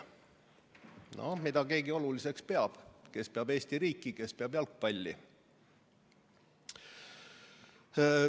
No mida keegi oluliseks peab – kes peab Eesti riiki, kes peab jalgpalli.